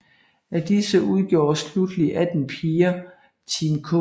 Af disse udgjorde slutteligt 18 piger Team K